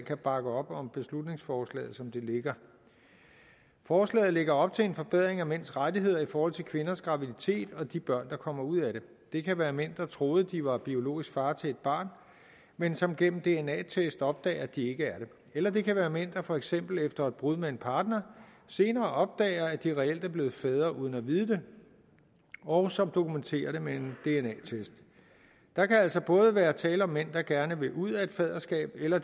kan bakke op om beslutningsforslaget som det ligger forslaget lægger op til en forbedring af mænds rettigheder i forhold til kvinders graviditet og de børn der kommer ud af det det kan være mænd der troede at de var biologisk far til et barn men som gennem en dna test opdager at de ikke er det eller det kan være mænd der for eksempel efter et brud med en partner senere opdager at de reelt er blevet fædre uden at vide det og som dokumenterer det med en dna test der kan altså både være tale om mænd der gerne vil ud af et faderskab eller